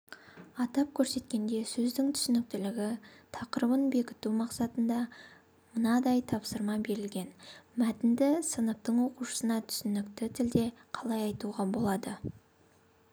атап көрсеткенде сөздің түсініктілігі тақырыбын бекіту мақсатында мынадай тапсырма берілген мәтінді сыныптың оқушысына түсінікті тілде қалай айтуға болады